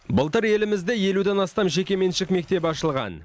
былтыр елімізде елуден астам жекеменшік мектеп ашылған